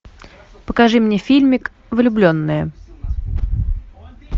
покажи мне фильмик влюбленные